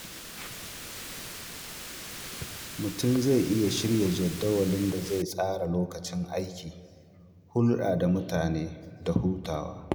Mutum zai iya shirya jadawalin da zai iya tsara lokacin aiki, hulɗa da mutane da hutawa.